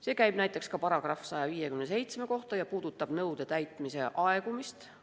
See käib näiteks ka § 157 kohta ja puudutab nõude täitmise aegumist.